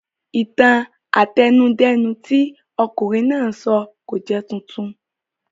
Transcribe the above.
Ìtàn àtẹnudẹ́nu tí ọ̀kunrin náà sọ kò jẹ́ titun